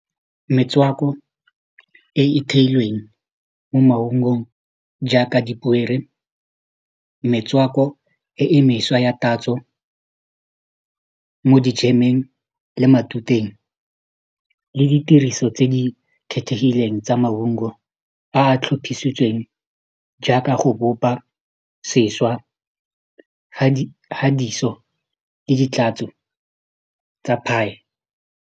Metswako e e theilweng mo maungong jaaka metswako e e mešwa ya tatso mo dijemeng le matuteng le ditiriso tse di kgethegileng tsa maungo a a tlhophisitsweng jaaka go bopa sešwa le ditlatso tsa pie.